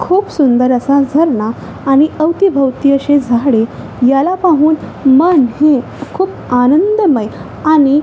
खूप सुंदर असा झरणा आणि अवतीभोवतो अशी झाडे याला पाहून मन हे खूप आनंदमय आणि--